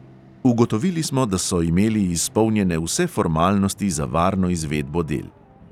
Ugotovili smo, da so imeli izpolnjene vse formalnosti za varno izvedbo del.